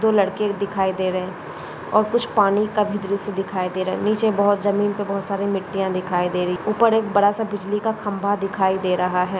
दो लड़के दिखाई दे रहे और कुछ पानी का भी दृश दिखाई दे रहा निचे बहुत जमीन पे बहुत सारे मिट्टीया दिखाई दे रही ऊपर एक बड़ासा बिजली का खंबा दिखाई दे रहा है।